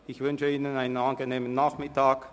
Ich wünsche Ihnen einen angenehmen Nachmittag.